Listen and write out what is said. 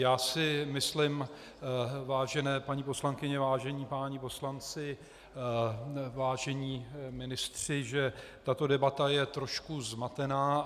Já si myslím, vážené paní poslankyně, vážení páni poslanci, vážení ministři, že tato debata je trošku zmatená.